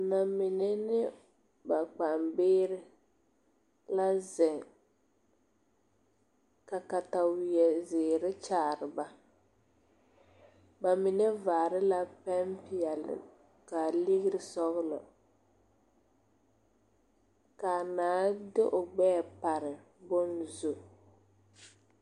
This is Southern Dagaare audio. Namine ne ba kpaŋbie la ziŋ ka kataweɛ kyaare ba bamine vaare la pɛmpeɛle ka legre sɔglɔ kaa naa de o gbɛɛ pare bon zu.